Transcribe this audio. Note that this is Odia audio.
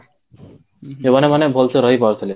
ସେମାନେ ମାନେ ଭଲ ସେ ରହିପାରୁଥିଲେ